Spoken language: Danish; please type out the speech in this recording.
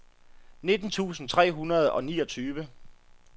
nitten tusind tre hundrede og niogtyve